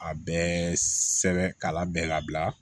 A bɛɛ sɛbɛn ka labɛn labila